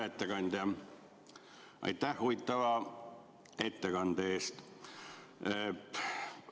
Hea ettekandja, aitäh huvitava ettekande eest!